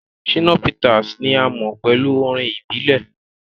Shina Peters ni a mo pẹlu orin ibile.